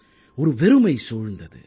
ஒரு வெறுமை சூழ்ந்தது